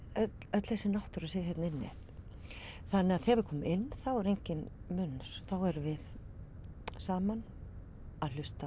öll þessi náttúra sé hérna inni þannig að þegar við komum inn er enginn munur þá erum við saman að hlusta